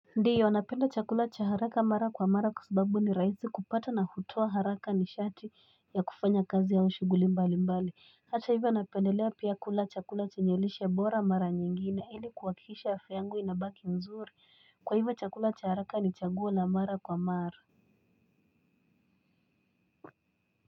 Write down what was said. Ndiyo napenda chakula cha haraka mara kwa mara. Kwa sababu ni rahisi kupata na hutoa haraka nishati ya kufanya kazi au shughuli mbali mbali. Hata ivyo napendelea pia kula chakula chenye lishe bora mara nyingine. Ili kuhakikisha afya yangu inabaki mzuri. Kwa ivyo chakula cha haraka ni chaguo la mara kwa mara.